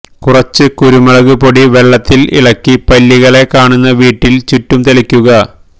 കുറച്ച് കുരുമുളക് പൊടി വെള്ളത്തിൽ ഇളക്കി പല്ലികളെ കാണുന്ന വീട്ടിൽ ചുറ്റും തളിക്കുക